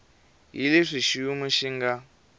hi leswi xiyimo xi nga